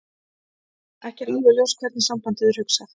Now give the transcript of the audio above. Ekki er alveg ljóst hvernig sambandið er hugsað.